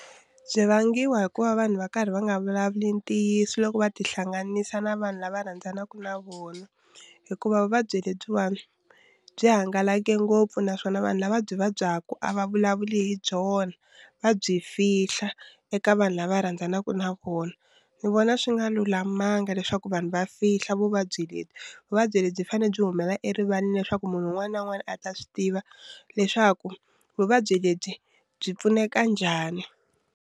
Byi vangiwa hi ku va vanhu va karhi va nga vulavuli ntiyiso loko va ti hlanganisa na vanhu lava rhandzanaka na vona hikuva vuvabyi lebyiwani byi hangalake ngopfu naswona vanhu lava byi vabyaku a va vulavuli hi byona va byi fihla eka vanhu lava rhandzanaka na vona ni vona swi nga lulamanga leswaku vanhu va fihla vuvabyi lebyi vuvabyi lebyi fanele byi humela erivaleni leswaku munhu un'wana na un'wana a ta swi tiva leswaku vuvabyi lebyi byi pfuneka njhani.